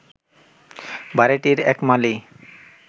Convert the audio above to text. বাড়িটির এক মালী